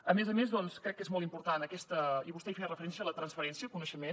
a més a més crec que és molt important i vostè hi feia referència la transferència de coneixement